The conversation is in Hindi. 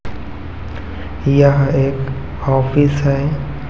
यह एक ऑफिस है।